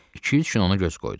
İki-üç gün ona göz qoydum.